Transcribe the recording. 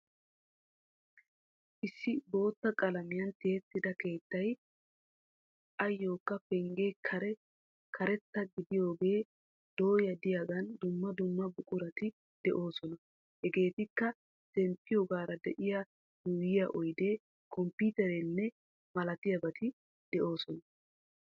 Issi bootta qalamiyan tiyettida keettay ayyokka penggiyaa karee karetta gididaage dooya de"iyaagan dumma dumma buqurati de'oosona. Hegeetikka zempiyaagara diya yuuyiya oydee, kompiitereenne malatiyabati de'oosona.